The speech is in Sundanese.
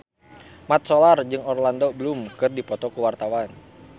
Mat Solar jeung Orlando Bloom keur dipoto ku wartawan